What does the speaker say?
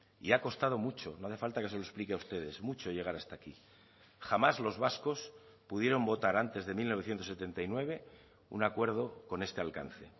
y ha costado mucho no hace falta que se lo explique a ustedes mucho llegar hasta aquí jamás los vascos pudieron votar antes de mil novecientos setenta y nueve un acuerdo con este alcance